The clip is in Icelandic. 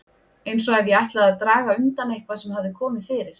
Eins ef ég ætlaði að draga undan eitthvað sem hafði komið fyrir.